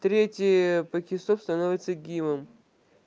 третья пакестов становится гивом